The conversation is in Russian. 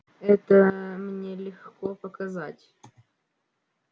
это мне легко показать